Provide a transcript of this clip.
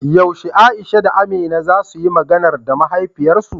Yaushe Aisha da Amina za suyi "Maganar" da mahaifiyarsu?